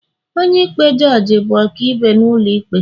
onye-ikpe jugee bụ ọkaibe n'ulo ikpe